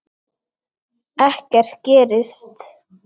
Ekkert gerist.